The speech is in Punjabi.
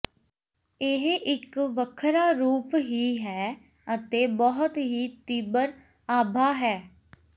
ਇਹ ਇੱਕ ਵੱਖਰਾ ਰੂਪ ਹੀ ਹੈ ਅਤੇ ਬਹੁਤ ਹੀ ਤੀਬਰ ਆਭਾ ਹੈ